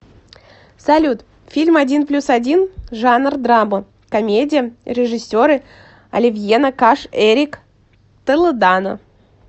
салют фильм один плюс один жанр драма комедия режисеры оливьена каш эрик толедано